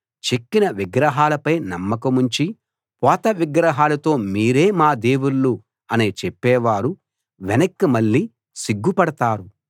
చెక్కిన విగ్రహాలపై నమ్మకముంచి పోతవిగ్రహాలతో మీరే మా దేవుళ్ళు అని చెప్పేవారు వెనక్కి మళ్ళి సిగ్గు పడతారు